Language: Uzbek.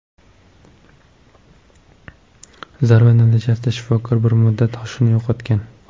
Zarba natijasida shifokor bir muddat hushini yo‘qotgan.